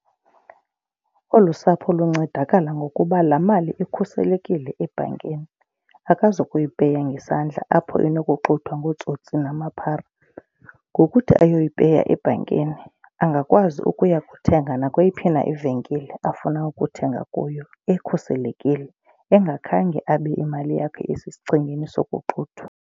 Olu sapho luncedakala ngokuba la mali ikhuselekile ebhankini. Akazukuyi peya ngesandla apho inokuxuthwa ngootsotsi namaphara. Ngokuthi ayoyipeya ebhankini angakwazi ukuya kuthenga nakweyiphi na ivenkile afuna ukuthenga kuyo, ekhuselekile engakhange abe imali yakhe isesichengeni sokoxuthwa.